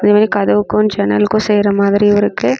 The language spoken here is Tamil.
இது வந்து கத்துவுக்கும் ஜன்னல்கும் செய்யுர மாரி இருக்கு.